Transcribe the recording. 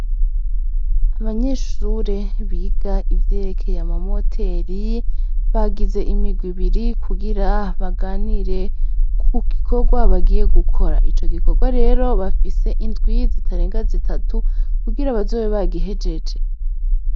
Abanyeshure biga ivyerekeye ama moteri , bagize imigwi ibiri kugira baganire, kugikorwa bagiye gukora. Ico gikorwa rero bafise indwi zitarenga zitatu kugira bazobe bagihejeje.